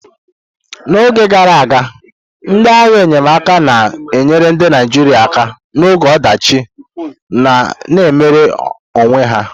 N'oge gara aga, ndị agha enyemaka na-enyere ndị Naijiria aka n'oge ọdachi na-emere onwe ya.